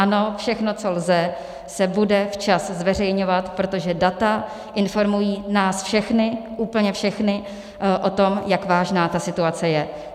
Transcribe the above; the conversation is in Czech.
Ano, všechno, co lze, se bude včas zveřejňovat, protože data informují nás všechny, úplně všechny o tom, jak vážná ta situace je.